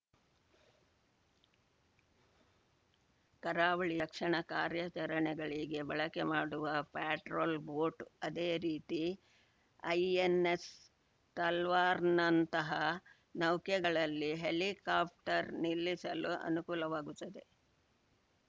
ಕರಾವಳಿ ರಕ್ಷಣಾ ಕಾರ್ಯಾಚರಣೆಗಳಿಗೆ ಬಳಕೆ ಮಾಡುವ ಪ್ಯಾಟ್ರೋಲ್‌ ಬೋಟ್‌ ಅದೇ ರೀತಿ ಐಎನ್‌ಎಸ್‌ ತಲ್ವಾರ್‌ನಂತಹ ನೌಕೆಗಳಲ್ಲಿ ಹೆಲಿಕಾಪ್ಟರ್‌ ನಿಲ್ಲಿಸಲು ಅನುಕೂಲವಾಗುತ್ತದೆ